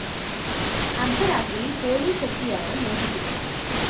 അര്‍ദ്ധ രാത്രിയില്‍ പോലീസ് എത്തിയാണ് മോചിപ്പിച്ചത്